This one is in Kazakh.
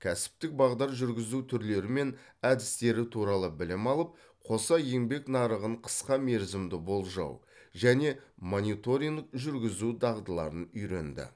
кәсіптік бағдар жүргізу түрлері мен әдістері туралы білім алып қоса еңбек нарығын қысқа мерзімді болжау және мониторинг жүргізу дағдыларын үйренді